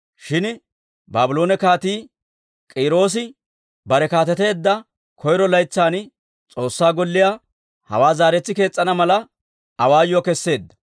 « ‹Shin Baabloone Kaatii K'iiroosi bare kaateteedda koyro laytsan, S'oossaa Golliyaa, hawaa zaaretsi kees's'ana mala, awaayuwaa keseedda.